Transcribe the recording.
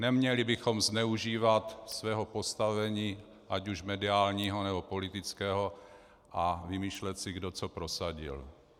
Neměli bychom zneužívat svého postavení, ať už mediálního, nebo politického, a vymýšlet si, kdo co prosadil.